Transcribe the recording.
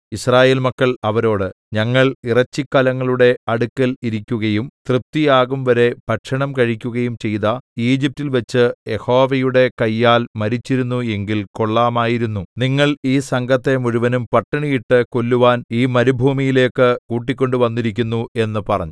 യിസ്രായേൽ മക്കൾ അവരോട് ഞങ്ങൾ ഇറച്ചിക്കലങ്ങളുടെ അടുക്കൽ ഇരിക്കുകയും തൃപ്തിയാകുംവരെ ഭക്ഷണം കഴിക്കുകയും ചെയ്ത ഈജിപ്റ്റിൽ വച്ച് യഹോവയുടെ കയ്യാൽ മരിച്ചിരുന്നു എങ്കിൽ കൊള്ളാമായിരുന്നു നിങ്ങൾ ഈ സംഘത്തെ മുഴുവനും പട്ടിണിയിട്ട് കൊല്ലുവാൻ ഈ മരുഭൂമിയിലേക്ക് കൂട്ടിക്കൊണ്ട് വന്നിരിക്കുന്നു എന്ന് പറഞ്ഞു